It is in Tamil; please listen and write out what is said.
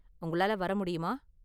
உங்களால வர முடியுமா?